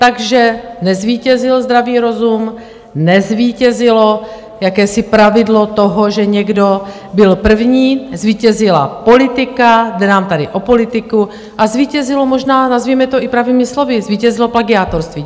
Takže nezvítězil zdravý rozum, nezvítězilo jakési pravidlo toho, že někdo byl první, zvítězila politika, jde nám tady o politiku, a zvítězilo, možná nazvěme to i pravými slovy, zvítězilo plagiátorství!